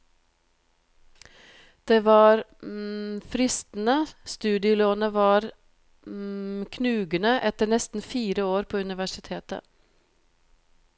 Det var fristende, studielånet var knugende etter nesten fire år på universitetet.